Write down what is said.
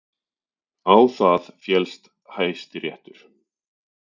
Á það féllst Hæstiréttur